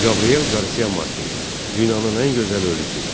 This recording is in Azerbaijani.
Gabriel Qarsia Markes, dünyanın ən gözəl ölülüsü.